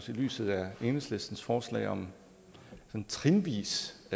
lyset af enhedslistens forslag om en trinvis